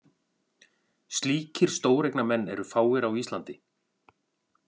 Slíkir stóreignamenn eru fáir á Íslandi.